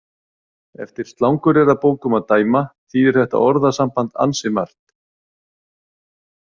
Eftir slanguryrðabókum að dæma þýðir þetta orðasamband ansi margt.